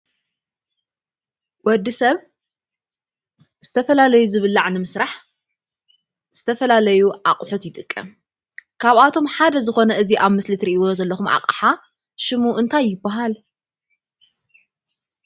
ወዲ ሰብ ዝተፈላለዩ ዝብላዕ ንምስራሕ ዝተፈላለዩ ኣቑሑት ይጥቀም፡፡ ካብኣቶም ሓደ ዝኾነ እዚ ኣብ ምስሊ ትሪእዎ ዘለኹም ኣቕሓ ሽሙ እንታይ ይበሃል?